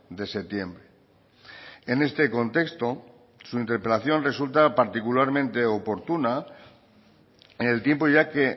de septiembre en este contexto su interpelación resulta particularmente oportuna en el tiempo ya que